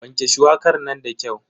Wanke shuwakar nan da kyau.